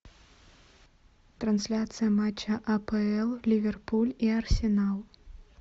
трансляция матча апл ливерпуль и арсенал